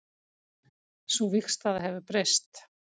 Sú vígstaða hefur breyst